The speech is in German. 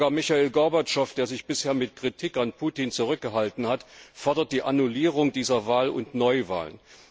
Sogar Michail Gorbatschow, der sich bisher mit Kritik an Putin zurückgehalten hat, fordert die Annullierung dieser Wahl und Neuwahlen.